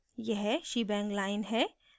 यह shebang line है